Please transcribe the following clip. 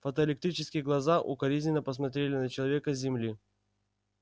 фотоэлектрические глаза укоризненно посмотрели на человека с земли